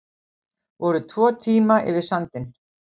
Voru tvo tíma yfir sandinn